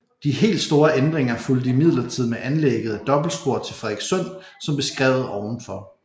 De helt store ændringer fulgte imidlertid med anlægget af dobbeltspor til Frederikssund som beskrevet ovenfor